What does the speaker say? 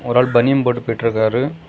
ஒரு ஆள் பனியன் போட்டு போயிட்ருக்காரு.